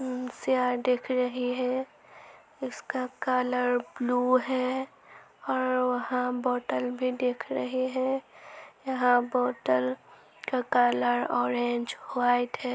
दिख रही है। इसका कलर ब्लू है और वहाँ बॉटल भी दिख रहे हैं। यहां बॉटल का कलर ऑरेंज वाइट है।